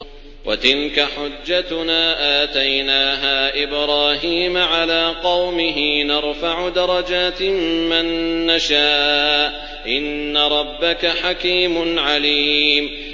وَتِلْكَ حُجَّتُنَا آتَيْنَاهَا إِبْرَاهِيمَ عَلَىٰ قَوْمِهِ ۚ نَرْفَعُ دَرَجَاتٍ مَّن نَّشَاءُ ۗ إِنَّ رَبَّكَ حَكِيمٌ عَلِيمٌ